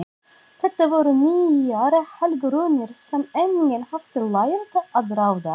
Þetta voru nýjar helgirúnir sem enginn hafði lært að ráða.